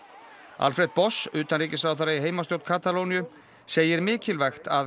Alfred utanríkisráðherra í heimastjórn Katalóníu segir mikilvægt að